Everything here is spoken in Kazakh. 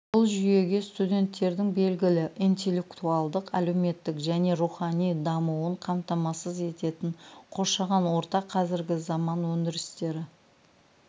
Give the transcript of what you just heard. бұл жүйеге студенттердің белгілі интеллектуалдық әлеуметтік және рухани дамуын қамтамасыз ететін қоршаған орта қазіргі заман өндірістері